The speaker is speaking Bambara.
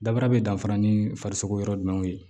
Dabara bɛ danfara ni farisoko yɔrɔ jumɛn ye